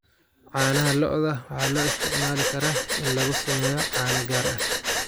Caanaha lo'da waxaa loo isticmaali karaa in lagu sameeyo caano gaar ah.